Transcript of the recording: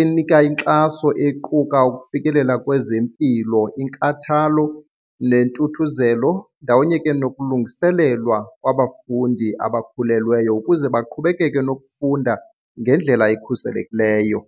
enika inkxaso equka ukufikelela kwezempilo, inkathalo nentuthuzelo ndawonye ke nokulungiselelwa kwabafundi abakhulelweyo ukuze baqhubekeke nokufunda ngendlela ekhuselekileyo.